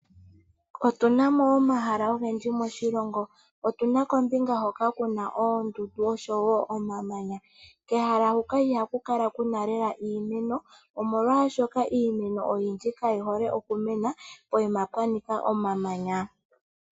Opuna omahala ogendji moshilongo opuna kombinga hoka kuna oondundu nomamanya, kehala hoka ihaku kala kuna naanaa iimeno molwashoka iimeno oyindji ihayi mene momamanya.